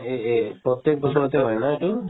এই~ এই প্ৰত্যেক বছৰতে হয় ন এইটো